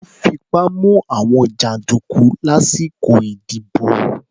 Wọ́n fipá mú àwọn jàǹdùkú lásìkò ìdìbò.